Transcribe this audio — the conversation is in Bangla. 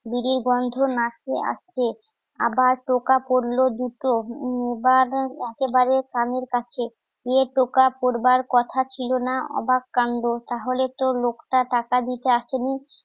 বিরির গন্ধ নাকে আসছে আবার টোকা পড়লো দুটো, বার একেবারে কানের কাছে এ টোকা পরবার কথা ছিল না অবাক কান্ড তাহলে তো লোকটা টাকা দিতে আসেনি